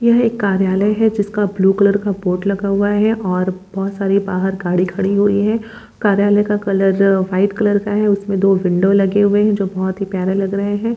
यहँ एक कार्यालय है जिसका ब्लू कलर का बोर्ड लगा हुआ है और बहुत सारी बाहर गाड़ी खड़ी हुई है। कार्यालय का कलर वाइट कलर का है। उसमें दो विंडो लगे हुए हैं जो बहोत ही प्यारे लग रहे हैं।